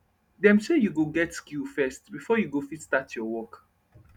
dem say u go get skill first before u go fit start ur work